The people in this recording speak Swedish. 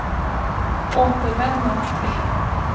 återvända